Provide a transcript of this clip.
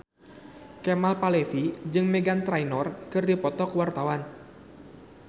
Kemal Palevi jeung Meghan Trainor keur dipoto ku wartawan